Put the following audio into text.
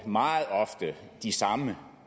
meget ofte de samme